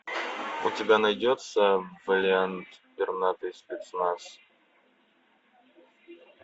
у тебя найдется вэлиант пернатый спецназ